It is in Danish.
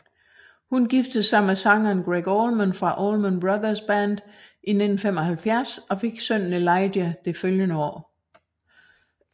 Hun giftede sig med sangeren Gregg Allman fra Allman Brothers Band i 1975 og fik sønnen Elijah det følgende år